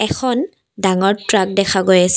এখন ডাঙৰ ট্ৰাক দেখা গৈ আছে।